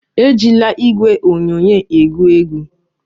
Ejila igwe onyonyo egwu egwu!